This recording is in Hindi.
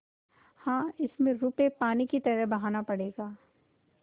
हाँ इसमें रुपये पानी की तरह बहाना पड़ेगा